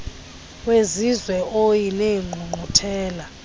wezizwe oie neengqungquthela